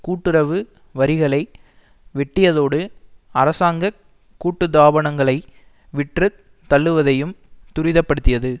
கூட்டுறவு வரிகளை வெட்டியதோடு அரசாங்க கூட்டு தாபனங்களை விற்று தள்ளுவதையும் துரிதப்படுத்தியது